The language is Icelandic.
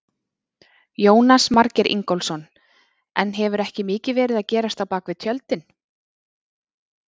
Jónas Margeir Ingólfsson: En hefur ekki mikið verið að gerast á bakvið tjöldin?